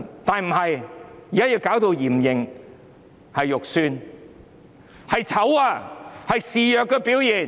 但現在要用嚴刑，難看又醜怪，是示弱的表現。